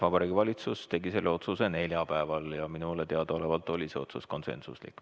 Vabariigi Valitsus tegi selle otsuse neljapäeval ja minule teadaolevalt oli otsus konsensuslik.